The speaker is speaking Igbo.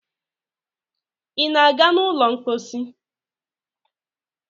ị na-aga n' ụlọ mposi?